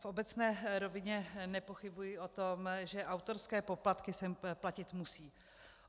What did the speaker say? V obecné rovině nepochybuji o tom, že autorské poplatky se platit musí.